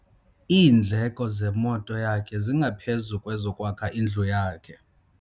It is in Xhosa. Iindleko zemoto yakhe zingaphezu kwezokwakha indlu yakhe.